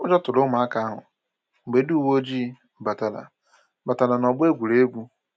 Ụjọ tụrụ ụmụaka ahụ mgbe ndị uwe ojii batara batara n'ọgbọ egwuregwu